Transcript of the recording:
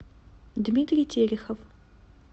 дмитрий терехов